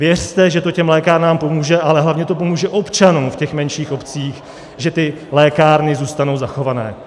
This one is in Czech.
Věřte, že to těm lékárnám pomůže, ale hlavně to pomůže občanům v těch menších obcích, že ty lékárny zůstanou zachované